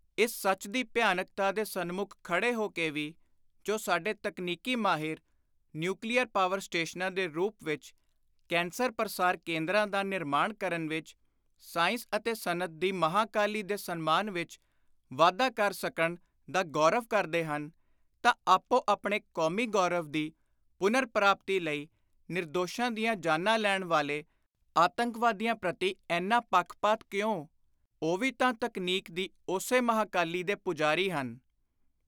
ਇਸ ਸੱਚ ਦੀ ਭਿਆਨਕਤਾ ਦੇ ਸਨਮੁਖ ਖੜੇ ਹੋ ਕੇ ਵੀ ਜੋ ਸਾਡੇ ਤਕਨੀਕੀ ਮਾਹਿਰ, ਨਿਉਕਲੀਅਰ ਪਾਵਰ ਸਟੇਸ਼ਨਾਂ ਦੇ ਰੂਪ ਵਿਚ ‘ਕੈਂਸਰ ਪਰਸਾਰ ਕੇਂਦਰਾਂ’ ਦਾ ਨਿਰਮਾਣ ਕਰਨ ਵਿਚ, ਸਾਇੰਸ ਅਤੇ ਸਨਅਤ ਦੀ ਮਹਾਂਕਾਲੀ ਦੇ ਸਨਮਾਨ ਵਿਚ ਵਾਧਾ ਕਰ ਸਕਣ ਦਾ ਗੌਰਵ ਕਰਦੇ ਹਨ ਤਾਂ ਆਪੋ ਆਪਣੇ ਕੌਮੀ ਗੌਰਵ ਦੀ ਪੁਨਰ-ਪ੍ਰਾਪਤੀ ਲਈ ਨਿਰਦੋਸ਼ਾਂ ਦੀਆਂ ਜਾਨਾਂ ਲੈਣ ਵਾਲੇ ਆਤੰਕਵਾਦੀਆਂ ਪ੍ਰਤੀ ਏਨਾ ਪੱਖਪਾਤ ਕਿਉਂ ? ਉਹ ਵੀ ਤਾਂ ਤਕਨੀਕ ਦੀ ਉਸੇ ਮਹਾਂਕਾਲੀ ਦੇ ਪੁਜਾਰੀ ਹਨ।